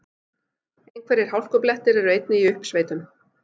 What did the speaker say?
Einhverjir hálkublettir eru einnig í uppsveitum